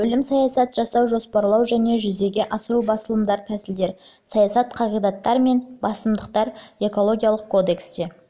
бөлім саясат жасау жоспарлау және жүзеге асыру басымдықтар тәсілдер және саясат қағидаттар мен басымдықтар экологиялық кодексте